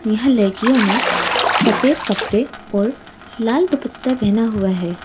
यहाँ लरकियों ने सफेद कपरे और लाल दुप्पता पहना हुआ है।